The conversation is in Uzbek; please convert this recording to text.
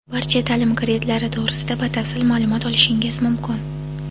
barcha ta’lim kreditlari to‘g‘risida batafsil ma’lumot olishingiz mumkin.